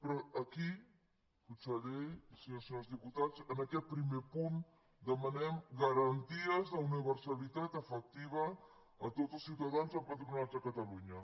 però aquí conseller i senyores i senyors diputats en aquest primer punt demanem garanties d’universalitat efectiva a tots els ciutadans empadronats a catalunya